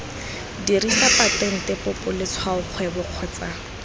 dirisa patente popo letshwaokgwebo kgotsa